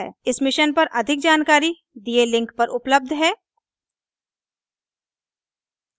इस मिशन पर अधिक जानकारी दिए लिंक पर उपलब्ध है